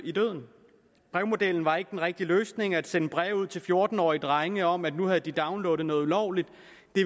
brevmodellen var ikke den rigtige løsning at sende breve ud til fjorten årige drenge om at nu havde de downloadet noget ulovligt